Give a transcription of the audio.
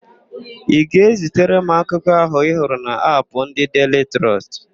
Ị ga-ezitara m akụkọ ahụ ị hụrụ n'Apụ ndị Deili Trọst?